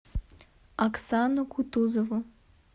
аксану кутузову